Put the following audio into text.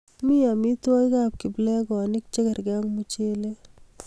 mi omitwogikab kiplekonik chekerkei ak muchele